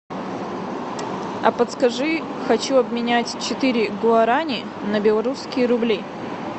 а подскажи хочу обменять четыре гуарани на белорусские рубли